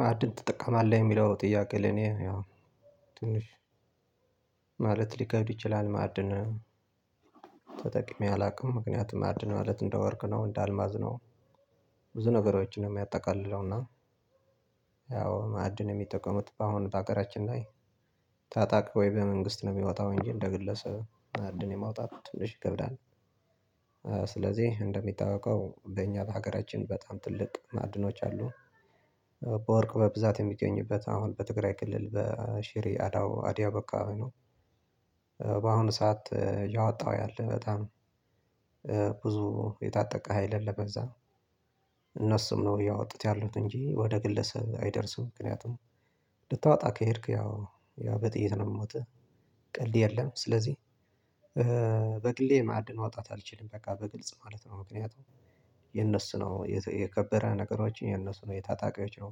ማዕድን ተጠቀማለህ የሚለው ጥያቄ ለኔ ያው ትንሽ ማለት ሊከብድ ይችላል። ማዕድን ተጠቅሜ አላውቅም ምክንያቱም ማዕድን ማለት እንደ ወርቅ ነው እንደ አልማዝ ነው። ብዙ ነገሮችን ነው የሚያጠቃልለው እና። ያው ማዕድን የሚጠቀሙት በአሁኑ በሀገራችን ላይ ታጣቂ ወይ በመንግስት ነው የሚወጣው እንጂ እንደ ግለሰብ መአድን የማውጣት ትንሽ ይከብዳል። ስለዚህ እንደሚታወቀው በእኛ ለሀገራችን በጣም ትልቅ ማዕድኖች አሉ። በወርቅ በብዛት የሚገኝበት አሁን በትግራይ ክልል በሺሬ አድያቦ አከባቢ ነው። ሰዓት ያወጣሁት ያለህ በጣም ብዙ የታጠቀ ሀይል አለበዛ እነሱም ነው ያወጡት ያሉት እንጂ ወደ ግለሰብ አይደርስም። ምክንያቱም ልታወጣ ከሄድክ ያው ያው በጥይት ነው የምሞትህ ቀልድ የለም። ስለዚህ በግሌ ማዕድን ማውጣት አልችልም በቃ በግልጽ ማለት ነው። ምክንያቱም የነሱ ነው የከበረ ነገሮችን የነሱ ነው የታጣቂዎች ነው።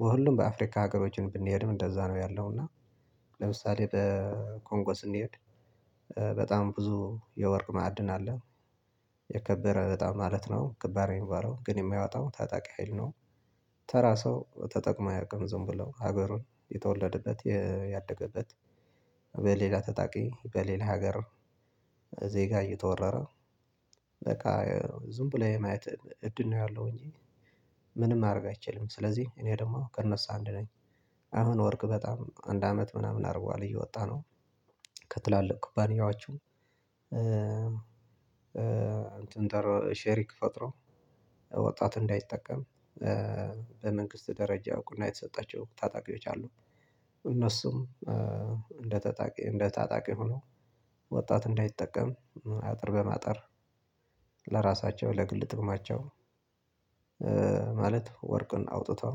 በሁሉም በአፍሪካ ሀገሮችን ብንሄድም እንደዛ ነው ያለው እና። ለምሳሌ በኮንጎ ስንሄድ በጣም ብዙ የወርቅ ማዕድን አለ። የከበረ በጣም ማለት ነው ክባር የሚባለው ግን የማያወጣው ታጣቂ ሀይል ነው። ተራ ሰው ተጠቅም አያውቅም ዝም ብለው ሀገሩን የተወለደበት ያደገበት። በሌላ ተጣቂ በሌላ ሀገር። ዜጋ እየተወረረ በቃ ዝም ብለህ ማየት እድል ነው ያለው እንጂ። ምንም ማድረግ አይችልም። ስለዚህ እኔ ደግሞ ከእነሱ አንድ ነኝ። አሁን ወርቅ በጣም አንድ አመት ምናምን አድርጓል እየወጣ ነው። ከትላልቅ ኩባንያዎቹ እንትን ጠር ሼሪክ ፈጥረው ወጣት እንዳይጠቀም በመንግስት ደረጃ እውቅና የተሰጣቸው ታጣቂዎች አሉ። እነሱም እንደ ታጣቂ እንደ ታጣቂ ሆኖ ወጣት እንዳይጠቀም አጥር በማጥር ለራሳቸው ለግል ጥቅማቸው። ማለት ወርቅን አውጥተው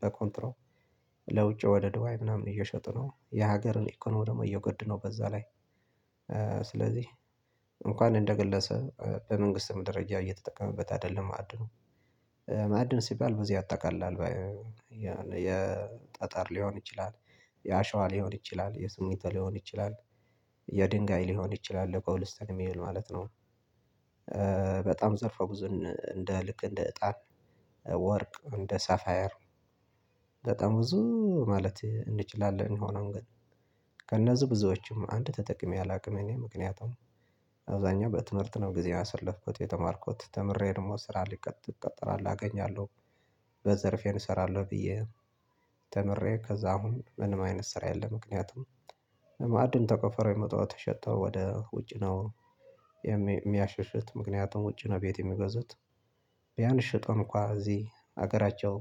በኮንትሮ ለውጭ ወደ ዱዋይ ምናምን እየሸጡ ነው የሀገርን ኢኮኖሚ ደግሞ እየጎዱ ነው። በዛ ላይ። ስለዚህ እንኳን እንደ ግለሰ በመንግስት ደረጃ እየተጠቀመበት አይደለም ማዕድኑ። ማዕድን ሲባል በዚህ አጠቃላል የጠጠር ሊሆን ይችላል የአሸዋ ሊሆን ይችላል የስሚት ሊሆን ይችላል የድንጋይ ሊሆን ይችላል ለኮብልስተን የሚዉል ማለት ነው። በጣም ዘርፎ ብዙን እንደ ልክ እንደ እጣን ወርቅ እንደ ሳፋየር በጣም ብዙ ማለት እንችላለን የሆነውን ግን። ከእነዚህ ብዙዎችም አንድ ተጠቅሜ አላውቅም። እኔ ምክንያታም አብዛኛው በትምህርት ነው ጊዜ ያሰለፍኩት የተማርኩት ተምሬ ደግሞ ስራ ሊቀጥ እቀጠራለው አገኛለሁ። በዘርፌን እሰራለሁ ብዬ ተምሬ ከዛ አሁን ምንም አይነት ስራ የለም ምክንያቱም መአድን ተቆፈረው የሚወጣው ተሸጠው ወደ ውጭ ነው። የሚያሽሽት ምክንያቱም ውጪ ነው ቤት የሚገዙት። ቢያንስ ሽጠን እንኳን እዚህ ሀገራቸው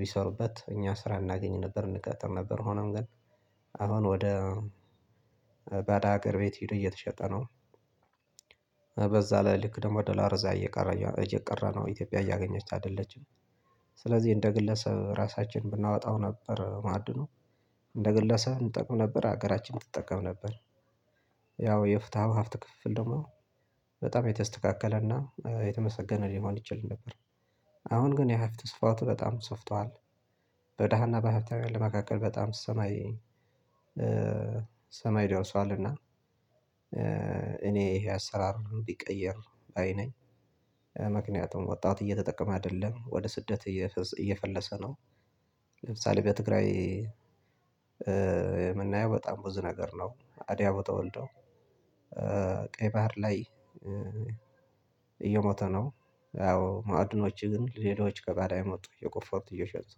ቢሰሩበት እኛ ስራ እናገኝ ነበር እንቀጠር ነበር ሆኖም ግን። አሁን ወደ ባዳ አገር ቤት ሂድ እየተሸጠ ነው። በዛ ላይ ልክ ደግሞ ደላር እየቀረ እየቀረ ነው ኢትዮጵያ እያገኘች አይደለችም። ስለዚህ እንደ ግለሰብ ራሳችን ብናወጣው ነበር ማዕድኑ እንደ ግለሰብ እንጠቅም ነበር ሀገራችን ትጠቀም ነበር። ያው የፍትሃው ሀፍት ክፍፍል ደግሞ በጣም የተስተካከለና የተመሰገነ ሊሆን ይችል ነበር። አሁን ግን ያ ሀብተ ስፋቱ በጣም ስፍቷል። በደሃና በሀብታም ያለ መካከል በጣም ሰማይ ሰማይ ደርሷልና። እኔ ይሄ አሰራር እንዲቀየር ባይ ነኝ። ምክንያቱም ወጣት እየተጠቀመ አይደለም ወደ ስደት እየፈለሰ ነው። ለምሳሌ በትግራይ የምናየው በጣም ብዙ ነገር ነው። አድያም የተወልደው ቀይ ባህር ላይ እየሞተ ነው። ያው ማዕድኖች ግን ሌሎች ከባዳ የመጡ የቆፈሩት እየሸጡት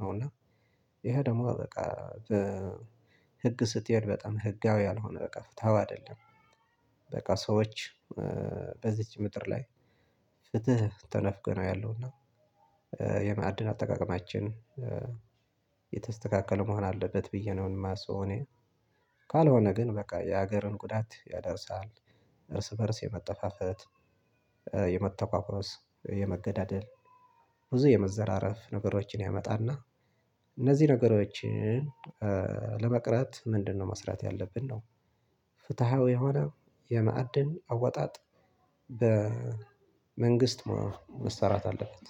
ነው እና። ይሄ ደግሞ በቃ በ ህግ ስትሄድ በጣም ህጋዊ ያልሆነ በቃ ፍትሃዊ አይደለም። በቃ ሰዎች በዚች ምድር ላይ ፍትህ ተነፍጎ ነው ያለውና። የማዕድን አጠቃቀማችን የተስተካከለ መሆን አለበት ብዬ ነው የማስበው እኔ። ካልሆነ ግን በቃ የሀገርን ጉዳት ያደርስሃል። እርስ በእርስ የመጠፋፈት የመተካከስ የመገዳደል ብዙ የመዘራረፍ ነገሮችን ያመጣልና። እነዚህ ነገሮችን ለመቅረት ምንድነው መስራት ያለብን ነው? ፍትሃዊ የሆነ የማዕድን አዋጣጥ በመንግስት መሰራት አለበት